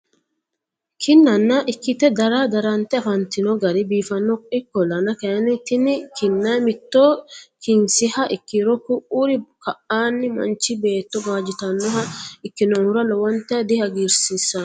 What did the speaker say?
kinnana ikite dara darante afannitino gari biifanno ikolanna kayinni tinni kinna mitto kinsiha ikiro ku'uri ka'anni manichi beeto gawajitannoha ikinnohura lowonta dihagirisiisanno.